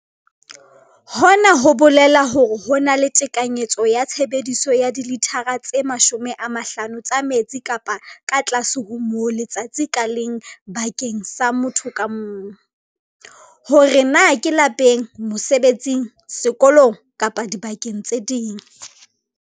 Hona ho bolela hore ho na le tekanyetso ya tshebediso ya dilithara tse 50 tsa metsi kapa ka tlase ho moo letsatsi ka leng bakeng sa motho ka mong, hore na ke lapeng, mosebetsing, sekolong kapa dibakeng tse ding.